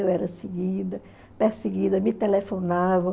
Eu era seguida, perseguida, me telefonavam.